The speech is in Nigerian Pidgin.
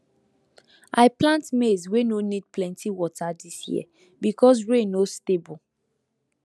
i plant maize wey no need plenty water this year because rain no stable